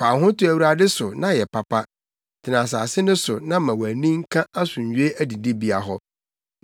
Fa wo ho to Awurade so na yɛ papa. Tena asase no so na ma wʼani nka asomdwoe adidibea hɔ.